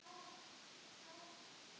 Eða heyrði hún ekki hvað ég var að segja?